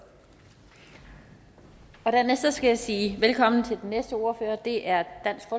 og dernæst skal jeg sige velkommen til den næste ordfører det er